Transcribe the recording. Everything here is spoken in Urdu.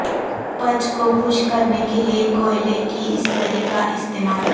پچ کو خشک کرنے کیلئے کوئلے کی استری کا استعمال